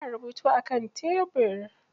Ana rubutu a kan tebir.